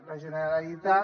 la generalitat